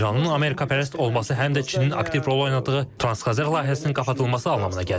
İranın Amerikapərəst olması həm də Çinin aktiv rol oynadığı Transxəzər layihəsinin qapadılması anlamına gəlir.